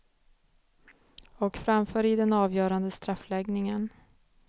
Och framför i den avgörande straffläggningen.